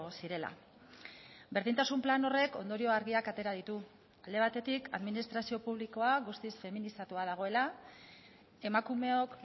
zirela berdintasun plan horrek ondorio argiak atera ditu alde batetik administrazio publikoa guztiz feminizatua dagoela emakumeok